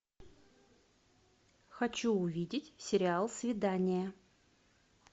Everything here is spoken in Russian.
хочу увидеть сериал свидание